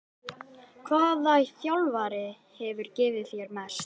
Hvaða þjálfari hefur gefið þér mest?